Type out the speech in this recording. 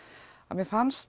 mér fannst